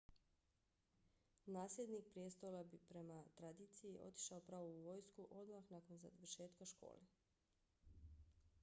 nasljednik prijestola bi prema tradiciji otišao pravo u vojsku odmah nakon završetka škole